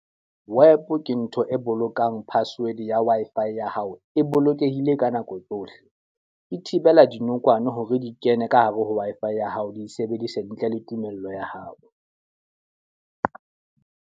WEP ke ntho e bolokang password ya Wi-Fi ya hao e bolokehile ka nako tsohle. Di thibela dinokwane hore di kene ka hare ho Wi-Fi ya hao, di sebedise ntle le tumello ya hao.